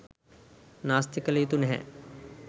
නාස්ති කළ යුතු නැහැ.